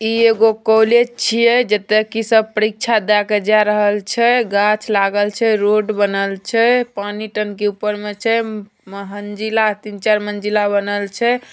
ई एगो कॉलेज छिये जेताकी सब परीक्षा देके जा रहल छै। गाँछ लागल छै रोड बनल छै। पानी टंकी ऊपर में छै। मह म्हंजीला तीन-चार मंजिला बनल छै।